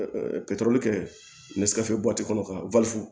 kɛ kɔnɔ ka